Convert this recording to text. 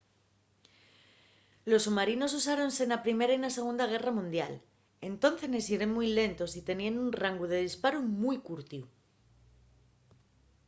los submarinos usáronse na primera y na segunda guerra mundial entóncenes yeren mui lentos y teníen un rangu de disparu mui curtiu